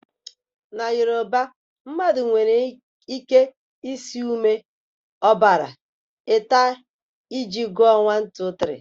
Na Yoruba, mmadụ nwere ike ịsị ume, ọbara, ẹta iji gụọ 1, 2, 3.